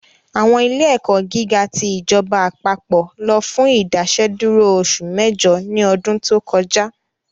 Àwọn ilé ẹ̀kọ́ gíga ti ìjọba àpapọ̀ lọ fún Ìdásẹ́dúró oṣù mẹ́jọ ní ọdún tó kọjá